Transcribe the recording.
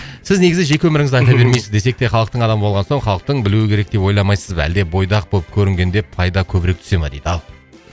сіз негізі жеке өміріңізді айта бермейсіз десек те халықтың адамы болған соң халықтың білуі керек деп ойламайсыз ба әлде бойдақ болып көрінгенде пайда көбірек түсе ма дейді ал